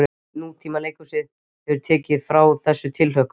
Nútímaleikhúsið hefur tekið frá okkur þessa tilhlökkun.